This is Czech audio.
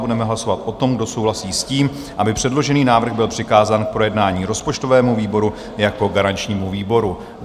Budeme hlasovat o tom, kdo souhlasí s tím, aby předložený návrh byl přikázán k projednání rozpočtovému výboru jako garančnímu výboru.